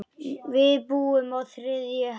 Við búum á þriðju hæð.